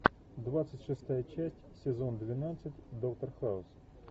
двадцать шестая часть сезон двенадцать доктор хаус